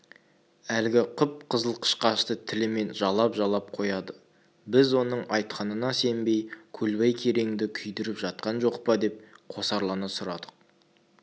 әлгі қып-қызыл қышқашты тілімен жалап-жалап қояды біз оның айтқанына сенбей көлбай кереңді күйдіріп жатқан жоқ па деп қосарлана сұрадық